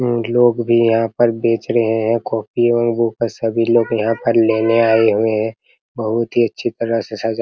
इ लोग भी यहां पर बेच रहे हैं कॉपी और बुक सभी लोग यहां पर लेने आए हुए हैं बहुत ही अच्छी तरह से सजा --